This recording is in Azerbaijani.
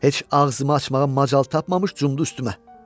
Heç ağzımı açmağa macal tapmamış cumdu üstümə.